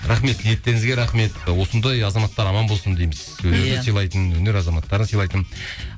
рахмет ниеттеріңізге рахмет осындай азаматтар аман болсын дейміз иә сыйлайтын өнер азаматтарын сыйлайтын